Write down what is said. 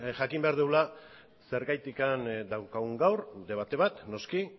jakin behar dugula zergatik daukagun gaur debate bat noski